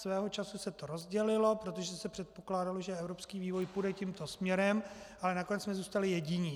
Svého času se to rozdělilo, protože se předpokládalo, že evropský vývoj půjde tímto směrem, ale nakonec jsme zůstali jediní.